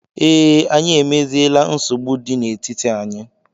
Ee, Anyị emeziela nsogbu dị n'etiti anyị